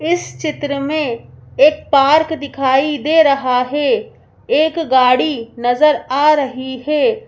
इस चित्र में एक पार्क दिखाई दे रहा है एक गाड़ी नजर आ रही है।